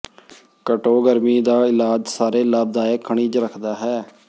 ਘੱਟੋ ਗਰਮੀ ਦਾ ਇਲਾਜ ਸਾਰੇ ਲਾਭਦਾਇਕ ਖਣਿਜ ਰੱਖਦਾ ਹੈ